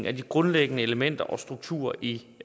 af de grundlæggende elementer og strukturer i